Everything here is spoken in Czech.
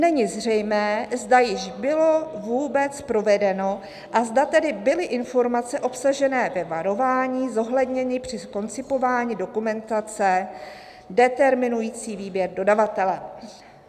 není zřejmé, zda již bylo vůbec provedeno, a zda tedy byly informace obsažené ve varování zohledněny při koncipování dokumentace, determinující výběr dodavatele."